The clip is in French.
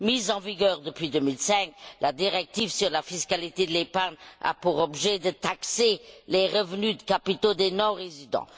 Mise en vigueur depuis 2005, la directive sur la fiscalité de l'épargne a pour objet de taxer les revenus de capitaux des non résidents.